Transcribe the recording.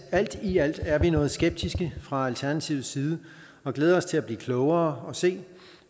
alt i alt er vi noget skeptiske fra alternativets side og glæder os til at blive klogere og se